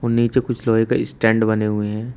नीचे कुछ लोहे का स्टैंड बने हुए हैं।